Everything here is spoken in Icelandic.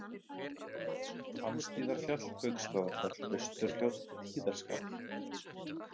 Hvammshlíðarfjall, Gauksstaðafell, Austurfljót, Tíðarskarð